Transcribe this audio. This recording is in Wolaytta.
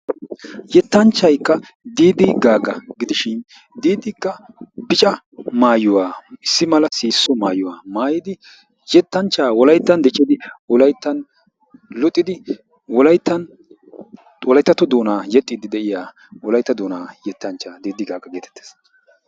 Yettanchchayi Diidi Gaaga gidishin diidikka bica maayuwa issi mala sihisso maayuwa maayidi yettanchchaa wokayttan diccidi wokayttan luxidi wokayttan wolayttatto doonaa yexxiiddi de"iya wolaytta doonaa yettanchchaa diidi gaaga geetettes.